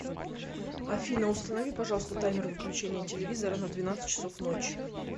афина установи пожалуйста таймер выключения телевизора на двенадцать часов ночи